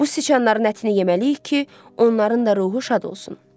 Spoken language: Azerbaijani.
Bu siçanların ətini yeməliyik ki, onların da ruhu şad olsun.